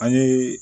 An ye